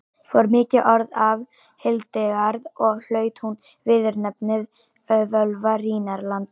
fór mikið orð af hildegard og hlaut hún viðurnefnið völva rínarlanda